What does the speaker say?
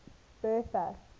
bertha